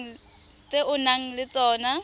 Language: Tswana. tse o nang le tsona